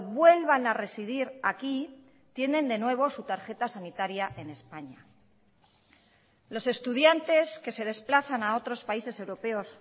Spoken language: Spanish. vuelvan a residir aquí tienen de nuevo su tarjeta sanitaria en españa los estudiantes que se desplazan a otros países europeos